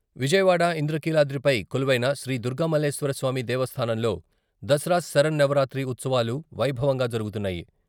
విజయవాడ ఇంద్రకీలాద్రిపై కొలువైన శ్రీ దుర్గామల్లేశ్వరస్వామి దేవస్థానంలో దసరా శరన్నవరాత్రి ఉత్సవాలు వైభవంగా జరుగుతున్నాయి..